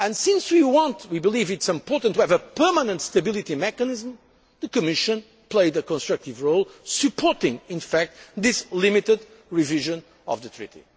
Since we believe it is important to have a permanent stability mechanism, the Commission played a constructive role supporting this limited revision of the Treaty.